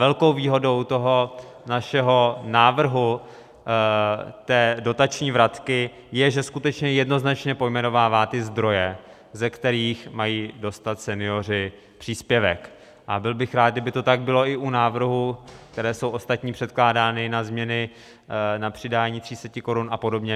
Velkou výhodou toho našeho návrhu, té dotační vratky, je, že skutečně jednoznačně pojmenovává ty zdroje, ze kterých mají dostat senioři příspěvek, a byl bych rád, kdyby to tak bylo i u návrhů, které jsou ostatním předkládány, na změny na přidání 300 korun a podobně.